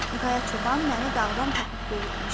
Qaya çoban məni dağdan tapıb böyütmüşdü.